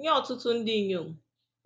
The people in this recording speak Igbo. Nye ọtụtụ ndị inyom,